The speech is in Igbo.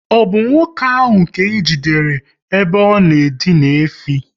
Ọ bụ nwoke ahụ ka ejidere ebe ọ na edina efi?